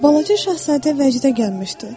Balaca şahzadə vəcdə gəlmişdi.